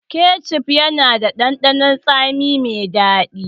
Kecef yana da ɗanɗanon tsami mai daɗi.